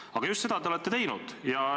Aga just seda te olete teinud.